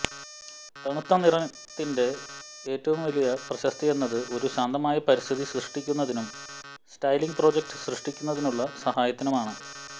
തണുത്ത നിറത്തിന്റെ ഏറ്റവും വലിയ പ്രശസ്തി എന്നത് ഒരു ശാന്തമായ പരിസ്ഥിതി സൃഷ്ടിക്കുന്നതിനും സ്റ്റൈലിങ്ങ് പ്രോജക്റ്റ് സൃഷ്ടിക്കുന്നതിനുള്ള സഹായത്തിനുമാണ്